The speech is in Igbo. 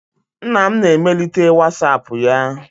Nna m na emelite whatsapp ya.